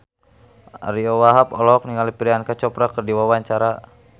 Ariyo Wahab olohok ningali Priyanka Chopra keur diwawancara